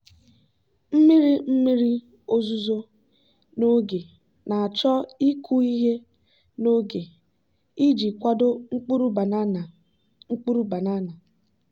mmiri mmiri ozuzo n'oge na-achọ ịkụ ihe n'oge iji kwado mkpụrụ banana. mkpụrụ banana.